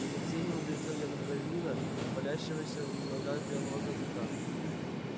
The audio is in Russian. с омерзением глядел я на дворянина валяющегося в ногах беглого казака